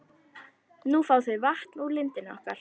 Nú fá þau vatn úr lindinni okkar.